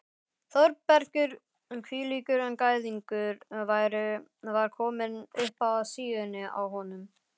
Þórbergur hvílíkur gæðingur var kominn upp að síðunni á honum?